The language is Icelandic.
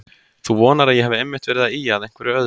Þú vonar að ég hafi einmitt verið að ýja að einhverju öðru.